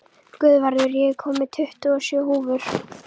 Guðvarður, ég kom með tuttugu og sjö húfur!